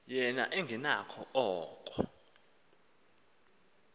yena engenakho oko